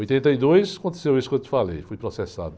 Em oitenta e dois, aconteceu isso que eu te falei, fui processado.